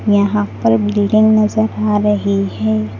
यहां पर बिल्डिंग नजर आ रही है।